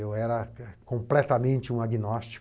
Eu era completamente um agnóstico.